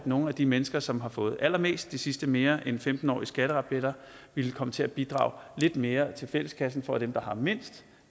nogle af de mennesker som har fået allermest de sidste mere end femten år i skatterabatter ville komme til at bidrage lidt mere til fælleskassen for at dem der har mindst